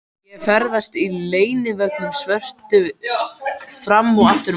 Ég ferðast í leiguvögnunum svörtu fram og aftur um borgina.